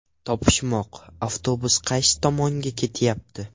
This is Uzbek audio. Topishmoq: Avtobus qaysi tomonga ketyapti?.